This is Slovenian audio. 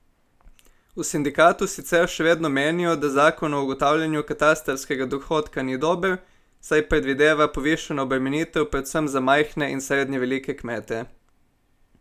V sindikatu sicer še vedno menijo, da zakon o ugotavljanju katastrskega dohodka ni dober, saj predvideva povišano obremenitev predvsem za majhne in srednje velike kmete.